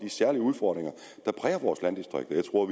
særlige udfordringer der præger vores landdistrikter jeg tror